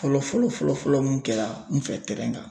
Fɔlɔ fɔlɔ fɔlɔ fɔlɔ mun kɛra n fɛ kan.